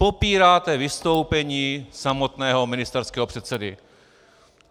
Popíráte vystoupení samotného ministerského předsedy.